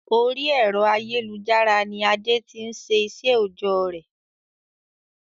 Orí ẹ̀rọ ayélujára ni Adé tí n se iṣẹ òojọ́ rẹ̀